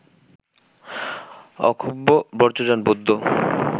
অক্ষোভ্য বজ্রযান বৌদ্ধ